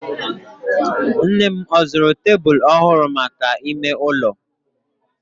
Nnem ọ zụrụ tebulu ọhụrụ maka ime ụlọ?